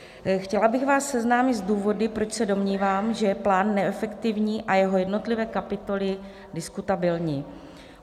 Chtěla bych vás seznámit s důvody, proč se domnívám, že plán je neefektivní a jeho jednotlivé kapitoly diskutabilní.